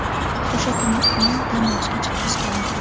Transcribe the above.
O‘sha kuni uni dam olishga chiqarishgan edi.